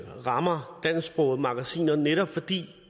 rammer dansksprogede magasiner netop fordi